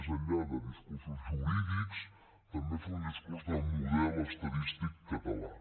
més enllà de discursos jurídics també fer un discurs de model estadístic català